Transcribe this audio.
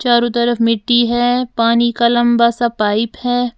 चारों तरफ मिट्टी है पानी का लंबा सा पाइप है।